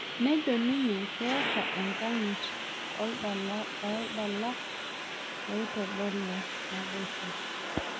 Nejo ninye keta enkanyit oladalak loitodolu naboisho